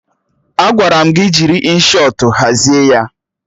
Agwara m gị jiri Inshọtụ hazie ya!